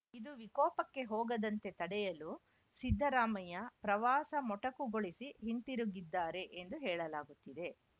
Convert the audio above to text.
ಇದು ವಿಕೋಪಕ್ಕೆ ಹೋಗದಂತೆ ತಡೆಯಲು ಸಿದ್ದರಾಮಯ್ಯ ಪ್ರವಾಸ ಮೊಟಕುಗೊಳಿಸಿ ಹಿಂತಿರುಗಿದ್ದಾರೆ ಎಂದು ಹೇಳಲಾಗುತ್ತಿದೆ